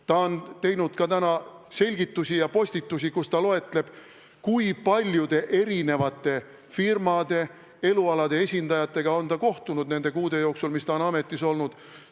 Ta on andnud täna selgitusi ja teinud postitusi, kus ta loetleb, kui paljude eri firmade, eri elualade esindajatega on ta kohtunud nende kuude jooksul, mis ta on ametis olnud.